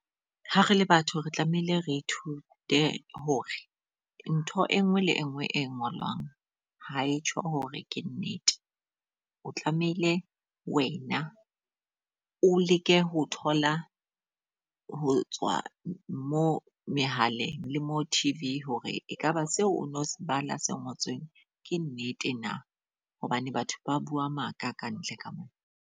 Ha re le batho re tlamehile re ithute hore ntho e nngwe le e nngwe e ngolwang ha e tjho hore ke nnete. O tlamehile wena o leke ho thola ho tswa mo mehaleng le mo T_V hore ekaba seo o no se bale se ngotsweng ke nnete na. Hobane batho ba bua maka ka ntle ka mona.